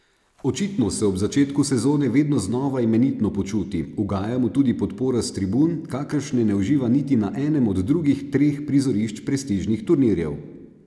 Očitno se ob začetku sezone vedno znova imenitno počuti, ugaja mu tudi podpora s tribun, kakršne ne uživa niti na enem od drugih treh prizorišč prestižnih turnirjev.